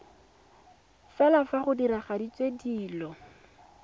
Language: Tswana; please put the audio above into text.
fela fa go diragaditswe dilo